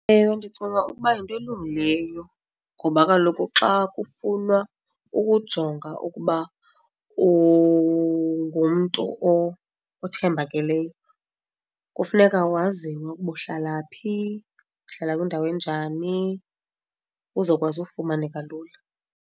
Ewe, ndicinga ukuba yinto elungileyo ngoba kaloku xa kufunwa ukujonga ukuba ungumntu othembakeleyo kufuneka waziwe ukuba uhlala phi, uhlala kwindawo enjani uzawukwazi ufumaneka lula.